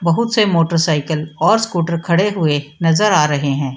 बहुत से motor cycle और स्कूटर खड़े हुए नजर आ रहे हैं।